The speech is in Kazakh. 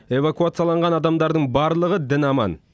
эвакуацияланған адамдардың барлығы дін аман